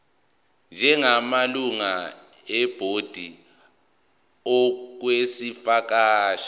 njengamalungu ebhodi okwesikhashana